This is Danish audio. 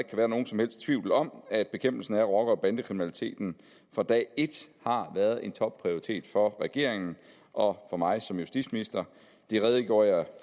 være nogen som helst tvivl om at bekæmpelsen af rocker og bandekriminaliteten fra dag et har været en topprioritet for regeringen og for mig som justitsminister det redegjorde jeg